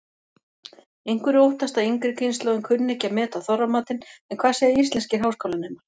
Einhverjir óttast að yngri kynslóðin kunni ekki að meta Þorramatinn en hvað segja íslenskir háskólanemar?